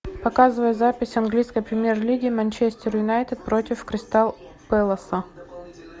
показывай запись английской премьер лиги манчестер юнайтед против кристал пэласа